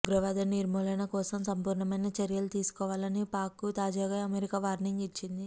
ఉగ్రవాద నిర్మూలన కోసం సంపూర్ణమైన చర్యలు తీసుకోవాలని పాక్కు తాజాగా అమెరికా వార్నింగ్ ఇచ్చింది